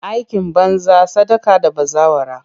Aikin banza, sadaka da bazawara.